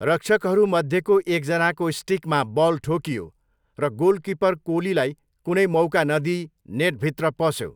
रक्षकहरू मध्येको एकजनाको स्टिकमा बल ठोकियो र गोलकिपर कोलीलाई कुनै मौका नदिई नेटभित्रमा पस्यो।